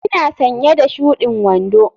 Ina sanye da shudin wando.